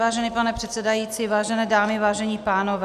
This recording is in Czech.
Vážený pane předsedající, vážené dámy, vážení pánové.